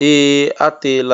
Ee! A teela m.